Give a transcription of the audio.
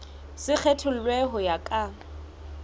se kgethollwe ho ya ka